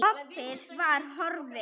Opið var horfið.